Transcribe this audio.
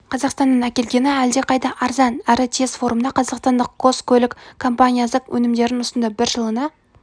қазақстаннан әкелгені әлдеқайда арзан әрі тез форумда қазақстандық қос көлік компаниясы өнімдерін ұсынды бірі жылына